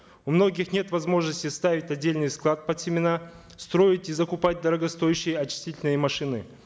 у многих нет возможности ставить отдельный склад под семена строить и закупать дорогостоящие очистительные машины